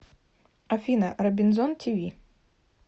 афина робинзон ти ви